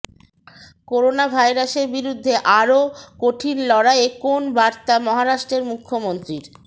corona ভাইরাসের বিরুদ্ধে আরও কঠিন লড়াইয়ে কোন বার্তা মহারাষ্ট্রের মুখ্যমন্ত্রীর